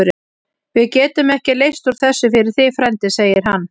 Við getum ekki leyst úr þessu fyrir þig, frændi segir hann.